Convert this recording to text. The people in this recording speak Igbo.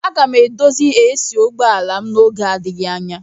Aga m edozi AC ụgbọ ala m n'oge adịghị anya.